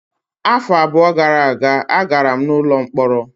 Afọ abụọ gara aga, agara m n'ụlọ mkpọrọ.